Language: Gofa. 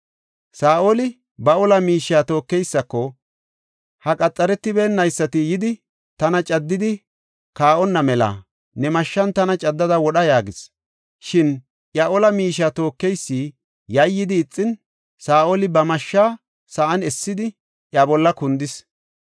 Saa7oli ba ola miishiya tookeysako, “Ha qaxaretiboonaysati yidi, tana caddidi kaa7onna mela ne mashshan tana caddada wodha” yaagis. Shin iya ola miishiya tookeysi yayyidi ixin, Saa7oli ba mashshaa sa7an essidi, iya bolla kundis.